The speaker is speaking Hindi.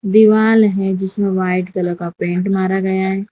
दीवाल है जिसमें व्हाइट कलर का पेंट मारा गया है।